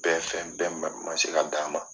Bɛɛ fɛn bɛɛ man se ka d'a ma.